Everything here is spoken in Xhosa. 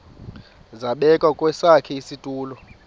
zabekwa kwesakhe isitulo